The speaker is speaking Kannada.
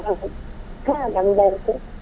ಹಾ ನಂದಾಯ್ತು.